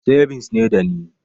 Sebins ne dani